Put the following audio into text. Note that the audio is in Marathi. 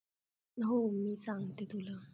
हो. मी सांगते तुला.